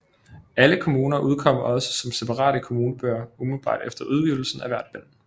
Alle kommuner udkom også som separate kommunebøger umiddelbart efter udgivelse af hvert bind